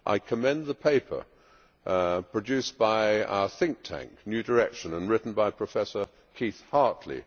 I commend the paper produced by our think tank, New Direction, and written by Professor Keith Hartley.